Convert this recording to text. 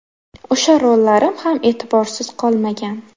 O‘sha rollarim ham e’tiborsiz qolmagan.